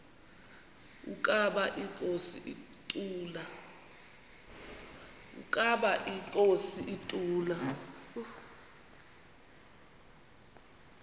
ukaba inkosi ituna